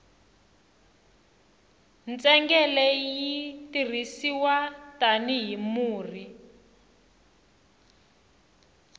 ntsengele yi tirhisiwa tani hi murhi